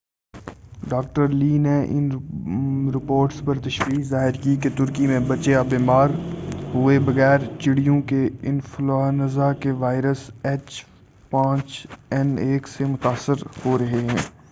Doctor Lee نے ان reports پر تشویش ظاہر کی کہ ترکی میں بچے اب بیمار ہوئے بغیر چڑیوں کے انفلونزا کے وائرس ایچ5این1 سے متاثر ہو رہے ہیں۔